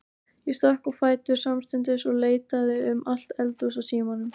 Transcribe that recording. Ég stökk á fætur samstundis og leitaði um allt eldhús að símanum.